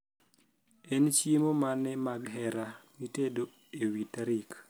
en chiemo mane mag hera mitedo ewi tarik